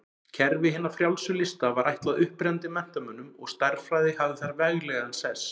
Kerfi hinna frjálsu lista var ætlað upprennandi menntamönnum og stærðfræði hafði þar veglegan sess.